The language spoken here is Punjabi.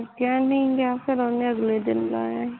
ਗਿਆ ਨਹੀਂ ਗਿਆ ਫਿਰ ਨੇ ਉਹਨੇ ਅਗਲੇ ਦਿਨ ਜਾਇਆ ਸੀ